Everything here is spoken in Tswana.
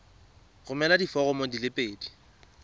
romela diforomo di le pedi